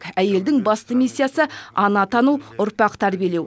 әйелдің басты миссиясы ана атану ұрпақ тәрбиелеу